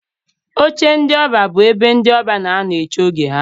Oche ndị ọbịa bụ ebe ndị ọbịa n'anọ eche oge ha.